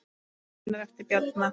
Greinar eftir Bjarna